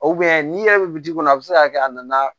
n'i yɛrɛ bɛ kɔnɔ a bɛ se ka kɛ a nana